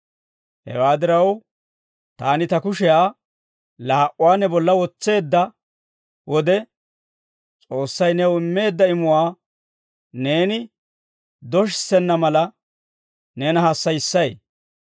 Hewaa diraw, taani ta kushiyaa laa"uwaa ne bolla wotseedda wode, S'oossay new immeedda imuwaa neeni doshissenna mala, neena hassayissay.